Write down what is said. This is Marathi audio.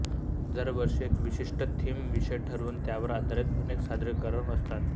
दरवर्षी एक विशिष्ट थीम विषय ठरवून त्यावर आधारित अनेक सादरीकरणं असतात